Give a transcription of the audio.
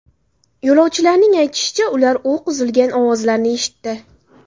Yo‘lovchilarning aytishicha, ular o‘q uzilgan ovozlarni eshitdi.